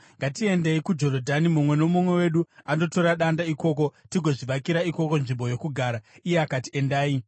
Ngatiendei kuJorodhani, mumwe nomumwe wedu andotora danda ikoko; tigozvivakira ikoko nzvimbo yokugara.” Iye akati, “Endai.”